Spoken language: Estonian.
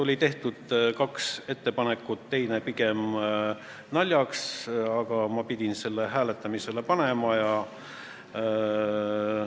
Oli tehtud kaks ettepanekut, teine pigem naljaks, aga ma pidin selle hääletusele panema.